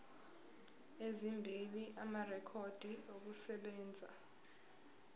ezimbili amarekhodi okusebenza